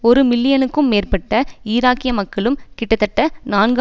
ஒரு மில்லியனுக்கும் மேற்பட்ட ஈராக்கிய மக்களும் கிட்டத்ட்ட நான்கு